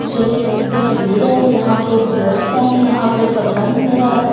ये एक तस्वीर है यहाँ पे प्रयस्त है यहाँ पे सब्ज़ा नज़र आ रहा है ब--